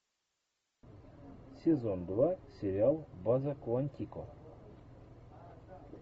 сезон два сериал база куантико